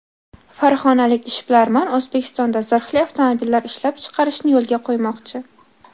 Farg‘onalik ishbilarmon O‘zbekistonda zirhli avtomobillar ishlab chiqarishni yo‘lga qo‘ymoqchi.